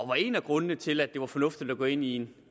var en af grundene til at det var fornuftigt at gå ind i